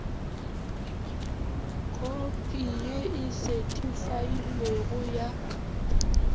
khopi ye e sethifailwego ya